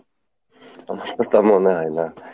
তা মনে হয় না।